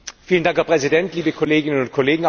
Herr Präsident, liebe Kolleginnen und Kollegen!